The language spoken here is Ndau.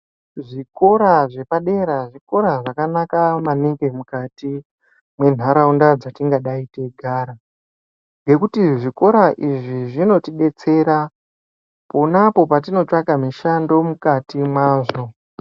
Zvikora zvepadera zvikora zvakanaka maningi mukati mwendaraunda dzatingadai teigara ngekuti zvikora izvi zvinotidetsera ponapo patinotsvaka mishando mukati mwazvo.